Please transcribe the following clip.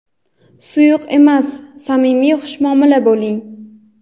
Suyuq emas, samimiy xushmuomala bo‘ling.